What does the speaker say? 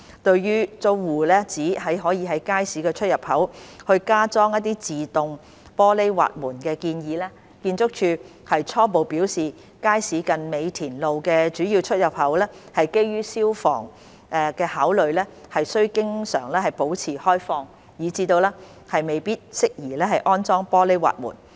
對於租戶指可在街市出入口加裝自動玻璃滑門的建議，建築署初步表示街市近美田路的主要出入口基於消防安全考慮須經常保持開放，以致未必適宜安裝玻璃滑門。